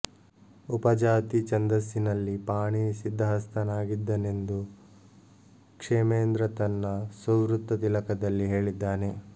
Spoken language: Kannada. ಉಪಜಾತಿ ಛಂದಸ್ಸಿನಲ್ಲಿ ಪಾಣಿನಿ ಸಿದ್ಧಹಸ್ತನಾಗಿದ್ದನೆಂದು ಕ್ಷೇಮೇಂದ್ರ ತನ್ನ ಸುವೃತ್ತತಿಲಕದಲ್ಲಿ ಹೇಳಿದ್ದಾನೆ